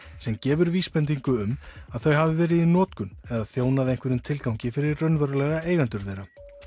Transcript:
sem gefur vísbendingu um að þau hafi verið í notkun eða þjónað einhverjum tilgangi fyrir raunverulega eigendur þeirra